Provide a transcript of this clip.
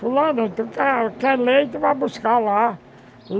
Falando, tu quer quer leite, vai buscar lá.